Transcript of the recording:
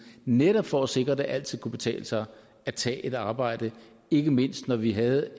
netop for at sikre at det altid kunne betale sig at tage et arbejde ikke mindst når vi havde